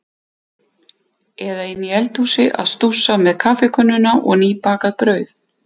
Eða inni í eldhúsi að stússa með kaffikönnuna og nýbakað brauð.